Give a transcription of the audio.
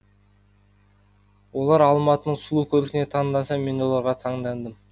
олар алматының сұлу көркіне таңданса мен оларға таңдандым